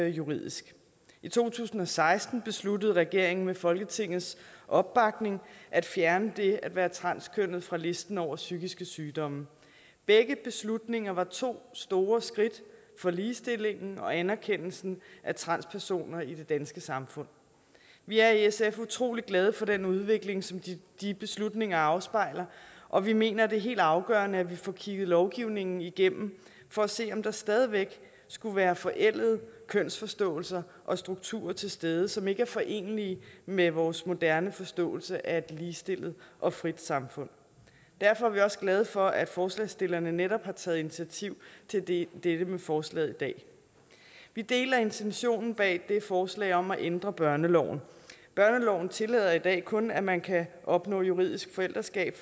juridisk i to tusind og seksten besluttede regeringen med folketingets opbakning at fjerne det at være transkønnet fra listen over psykiske sygdomme begge beslutninger var to store skridt for ligestillingen og anerkendelsen af transpersoner i det danske samfund vi er i sf utrolig glade for den udvikling som de beslutninger afspejler og vi mener det er helt afgørende at vi får kigget lovgivningen igennem for at se om der stadig væk skulle være forældede kønsforståelser og strukturer til stede som ikke er forenelige med vores moderne forståelse af et ligestillet og frit samfund derfor er vi også glade for at forslagsstillerne netop har taget initiativ til dette dette med forslaget i dag vi deler intentionen bag forslaget om at ændre børneloven børneloven tillader i dag kun at man kan opnå juridisk forældreskab